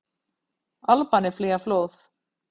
Albanir flýja flóð